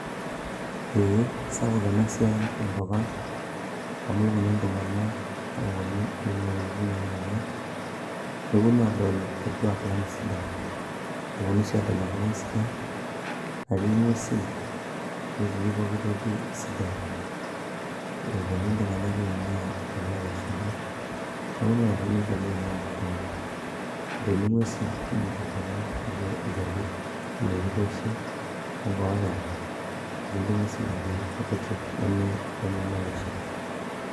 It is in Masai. eeh, sapuk ena siai tenkop ang amu keponu iltung'anak oponu oing'ua iwuejitin nelakua neponu adol orkuak lang sidai eponu sii adol enkop ang sidai natii ing'uesin netii pokitoki sidai eponu iltung'anak oing'ua inkuapi olashumpa neponu ake sininche loing'ua kenya etumi ing'uesin kumok tenkop ang nijio ilcharkuk oloitikoshi onkopera okulie ng'uesin ake kutitik nemitanyamalisho.